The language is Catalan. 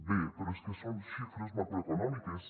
bé però és que són xifres macroeconòmiques